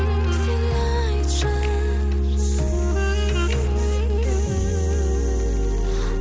сен айтшы